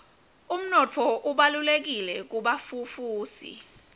umnotfo ubalulekile kubafufusi